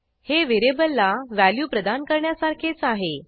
हे व्हेरिएबलला व्हॅल्यू प्रदान करण्यासारखेच आहे